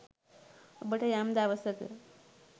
ඔබට යම් දවසක